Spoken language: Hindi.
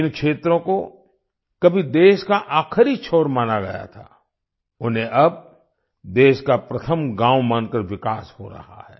जिन क्षेत्रों को कभी देश का आखिरी छोर माना गया था उन्हें अब देश का प्रथम गाँव मानकर विकास हो रहा है